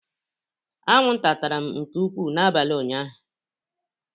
Anwụnta tara m nke ukwuu n'abalị ụnyaahụ.